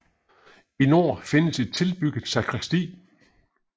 I nord findes et tilbygget sakristi